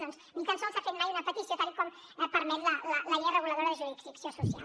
doncs ni tan sols s’ha fet mai una petició tal com permet la llei reguladora de jurisdicció social